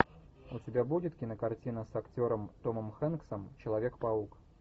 у тебя будет кинокартина с актером томом хэнксом человек паук